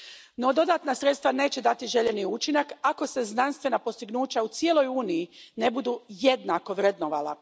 No dodatna sredstva neće dati željeni učinak ako se znanstvena postignuća u cijeloj Uniji ne budu jednako vrednovala.